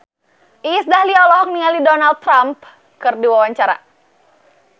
Iis Dahlia olohok ningali Donald Trump keur diwawancara